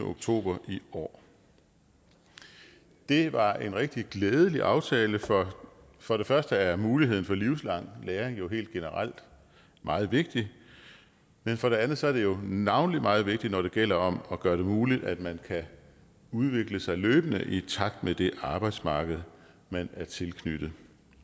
oktober i år det var en rigtig glædelig aftale for for det første er muligheden for livslang læring helt generelt meget vigtigt men for det andet er det jo navnlig meget vigtigt når det gælder om at gøre det muligt at man kan udvikle sig løbende i takt med det arbejdsmarked man er tilknyttet